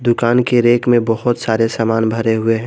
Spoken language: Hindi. दुकान के रैक में बहोत सारे सामान भरे हुए हैं।